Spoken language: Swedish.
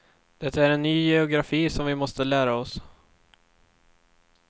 Det är en ny geografi som vi måste lära oss.